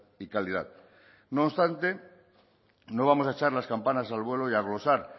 y calidad no obstante no vamos a echar las campanas al vuelo y a glosar